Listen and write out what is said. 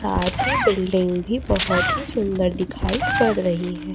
साथ ही बिल्डिंग भी बहोत ही सुंदर दिखाई पड़ रही है।